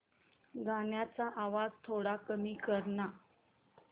गाण्याचा आवाज थोडा कमी कर ना